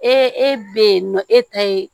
Ee e be yen nɔ e ta ye